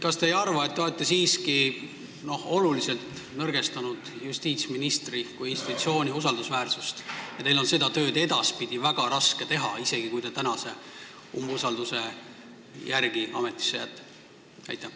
Kas te ei arva, et te olete siiski oluliselt nõrgestanud justiitsministri kui institutsiooni usaldusväärsust ja teil on seda tööd edaspidi väga raske teha, isegi kui te tänase hääletuse järel ametisse jääte?